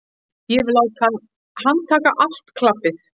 Ég vil láta handtaka allt klabbið.